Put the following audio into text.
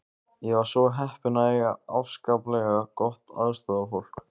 Ég var svo heppin að eiga afskaplega gott aðstoðarfólk.